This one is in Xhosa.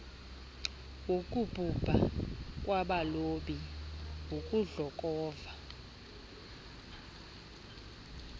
wokubhubha kwabalobi ukudlokova